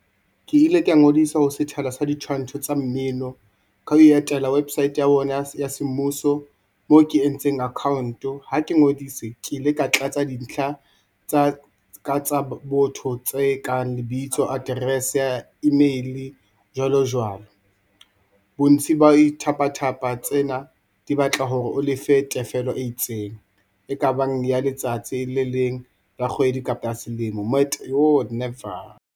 Ke ile ka ngodisa ho sethala sa ditshwantsho tsa mmino ka ho etela website ya bona ya se mmuso mo ke entseng account-o ha ke ngodise, ke ile ka tlatsa dintlha tsa ka tsa botho, tse kang lebitso, address-e, email jwalo jwalo. Bontshi ba di tsena di batla hore o lefe tefello e itseng e ka bang ya letsatsi le le leng la kgwedi kapa selemo never.